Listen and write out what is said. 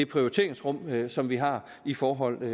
prioriteringsrum som vi har i forhold til